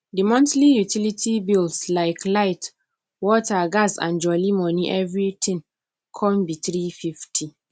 the monthly utility bills like light water gas and jolli money everything come be three fifty